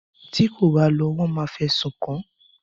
Ti kò bá lọ wọ́n máa fẹ̀sùn kàn án.